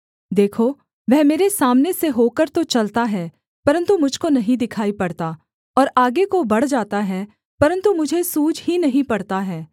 देखो वह मेरे सामने से होकर तो चलता है परन्तु मुझ को नहीं दिखाई पड़ता और आगे को बढ़ जाता है परन्तु मुझे सूझ ही नहीं पड़ता है